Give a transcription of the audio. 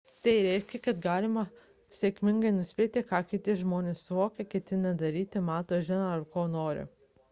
tai reiškia kad galime sėkmingai nuspėti ką kiti žmonės suvokia ketina daryti mano žino ar ko nori